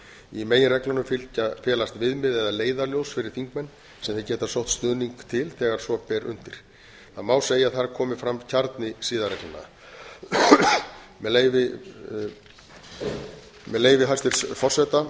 í meginreglunum felast viðmið eða leiðarljós fyrir þingmenn sem þeir geta sótt stuðning til þegar svo ber undir það má segja að þar komi fram kjarni siðareglnanna með leyfi hæstvirts forseta